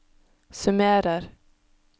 summerer